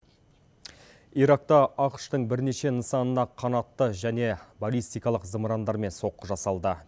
иракта ақш тың бірнеше нысанына қанатты және болистикалық зымырандармен соққы жасалды